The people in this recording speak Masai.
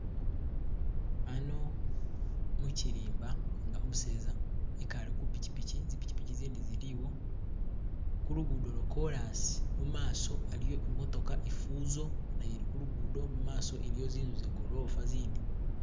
Hano muchirimba inga umuseza ikale kupichipichi zipichipichi zindi ziliwo kulugudo lo korrasi imaaso haliyo imootoka Fuso naye ili kulugudo mumaso iliyo zinzu ze golofa zind.